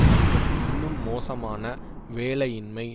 மற்றும் இன்னும் மோசமான வேலையின்மை